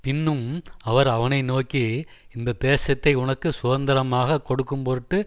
பின்னும் அவர் அவனை நோக்கி இந்த தேசத்தை உனக்கு சுதந்தரமாகக் கொடுக்கும்பொருட்டு